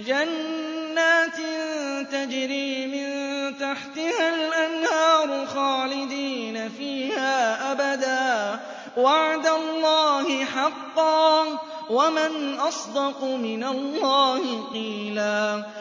جَنَّاتٍ تَجْرِي مِن تَحْتِهَا الْأَنْهَارُ خَالِدِينَ فِيهَا أَبَدًا ۖ وَعْدَ اللَّهِ حَقًّا ۚ وَمَنْ أَصْدَقُ مِنَ اللَّهِ قِيلًا